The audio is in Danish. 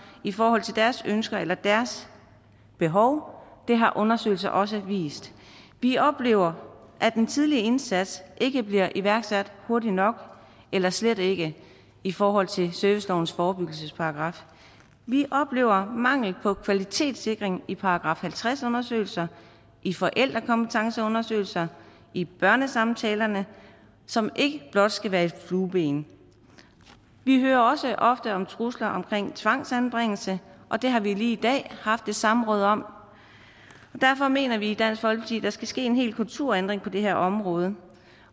i forhold til deres ønsker eller deres behov det har undersøgelser også vist vi oplever at en tidlig indsats ikke bliver iværksat hurtigt nok eller slet ikke i forhold til servicelovens forebyggelsesparagraf vi oplever mangel på kvalitetssikring i § halvtreds undersøgelser i forældrekompetenceundersøgelser i børnesamtalerne som ikke blot skal være et flueben vi hører også ofte om trusler omkring tvangsanbringelse og det har vi lige i dag haft et samråd om derfor mener vi i dansk folkeparti der skal ske en hel kulturændring på det her område